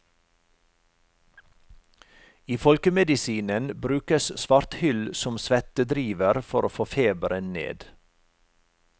I folkemedisinen brukes svarthyll som svettedriver for å få feberen ned.